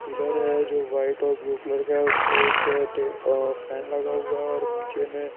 pillar है जो white और ब्लू कलर का है उस पे एक फैन लगा हुआ है और नीचे में---